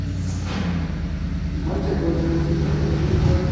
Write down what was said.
Kimeche kocher tuguk chetindoi.